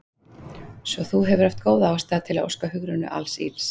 Svo þú hefur haft góða ástæðu til að óska Hugrúnu alls ills?